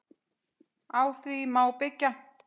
Á því má byggja.